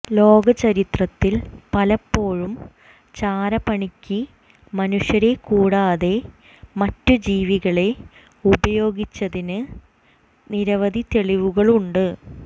ലോക ചരിത്രത്തിൽ പലപ്പോഴും ചാരപ്പണിക്ക് മനുഷ്യരെക്കൂടാതെ മറ്റു ജീവികളെ ഉപയോഗിച്ചതിന്റെ നിരവധി തെളിവുകളുണ്ട്